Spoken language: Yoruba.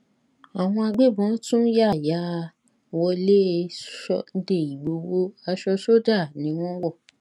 àwọn agbébọn tún yá yá wọlé sunday ìgboro aṣọ sójà ni wọn wọ